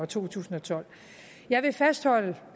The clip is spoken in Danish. to tusind og tolv jeg vil fastholde